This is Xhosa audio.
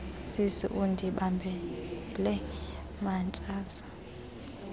sisi undibambele mantsantsa